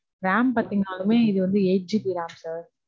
Ram பாத்தீங்கனாளுமே, இது வந்து eight GB ram sir